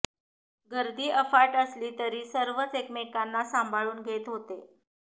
गर्दी अफाट असली तरी सर्वच एकमेकांना सांभाळून घेत होते